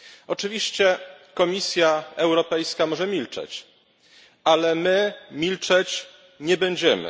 Oczywiście Komisja Europejska może milczeć, ale my milczeć nie będziemy.